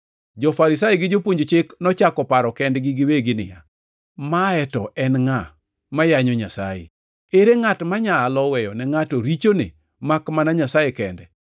Jo-Farisai gi jopuonj Chik nochako paro kendgi giwegi niya, “Mae to en ngʼa ma yanyo Nyasaye? Ere ngʼat manyalo weyone ngʼato richone makmana Nyasaye kende?”